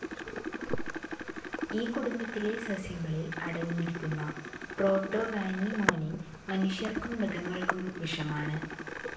ഈ കുടുംബത്തിലെ സസ്യങ്ങളിൽ അടങ്ങിയിരിക്കുന്ന പ്രോടോവാനിമോനിൻ മനുഷ്യർക്കും മൃഗങ്ങൾക്കും വിഷമാണ്.